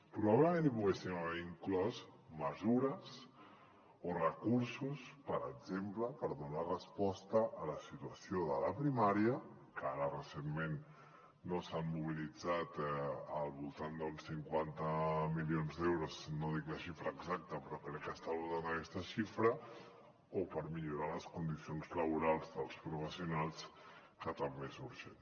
probablement hi poguéssim haver inclòs mesures o recursos per exemple per donar resposta a la situació de la primària que ara recentment s’han mobilitzat al voltant d’uns cinquanta milions d’euros no dic la xifra exacta però crec que està al voltant d’aquesta xifra o per millorar les condicions laborals dels professionals que també és urgent